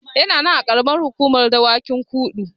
Yana nan a Ƙaramar Hukumar Dawakin Kudu.